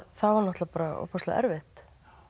það var náttúrulega bara ofboðslega erfitt